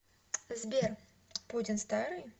сбер путин старый